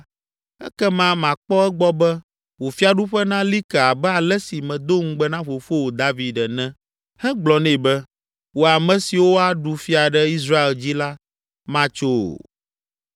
ekema makpɔ egbɔ be, wò fiaɖuƒe nali ke abe ale si medo ŋugbe na fofowò David ene hegblɔ nɛ be, ‘Wò ame siwo aɖu fia ɖe Israel dzi la matso o.’